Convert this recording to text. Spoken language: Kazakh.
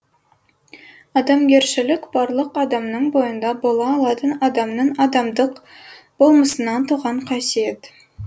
адамгершілік барлық адамның бойында бола алатын адамның адамдық болмысынан туған қасиет